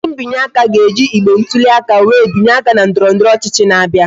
Ndị binye aka ga-eji igbe ntụli aka wee binye aka na ndọrọndọrọ ọchịchị na-abịa